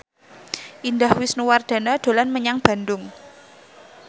Indah Wisnuwardana dolan menyang Bandung